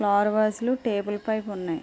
Flower వాజులు table పైన ఉన్నాయి.